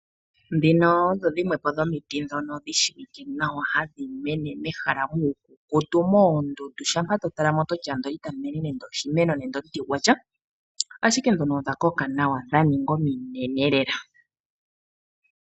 Dhino odho dhimwe dhomiti dhi shiwike nawa ha dhi mene nawa mehala mukukutu moondundu , shampa to talamo ototi wala itamu mene nande oshimeno nenge omuti gwasha, ashike dhono odha koka nawa dha ninga ominene lela.